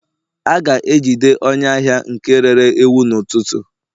a ga-ejide onye ahia nke rere ewu n'ututu